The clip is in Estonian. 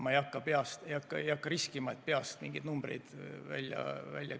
Ma ei hakka riskima, et peast mingeid numbreid välja käia.